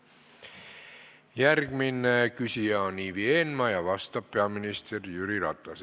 Järgmine küsija on Ivi Eenmaa ja vastab peaminister Jüri Ratas.